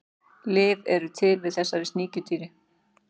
Lyf eru til við þessu sníkjudýri.